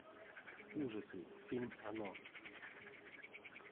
ужасы фильм оно